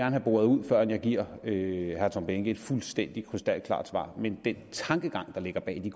have boret ud før jeg giver herre tom behnke et fuldstændig krystalklart svar men den tankegang der ligger bag de